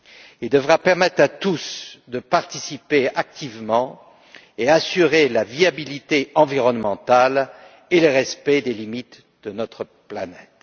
Il devra permettre à tous de participer activement et assurer la viabilité environnementale et le respect des limites de notre planète.